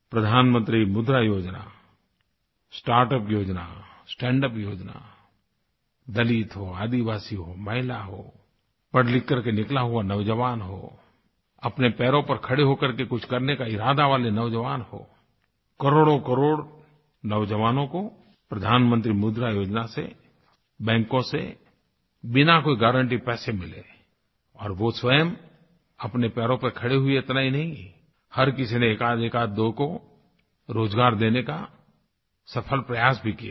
प्रधानमंत्री मुद्रा योजना स्टार्ट यूपी योजना स्टैंड यूपी योजना दलित हो आदिवासी हो महिला हो पढ़लिख करके निकला हुआ नौज़वान हो अपने पैरों पर खड़े होकर कुछ करने का इरादा वाले नौज़वान हो करोड़ोंकरोड़ों नौज़वानों को प्रधानमंत्री मुद्रा योजना से बैंकों से बिना कोई गारन्टी पैसे मिले और वो स्वयं अपने पैरों पर खड़े हुए इतना ही नहीं हर किसी ने एकआध एकआध दो को रोज़गार देने का सफ़ल प्रयास भी किया है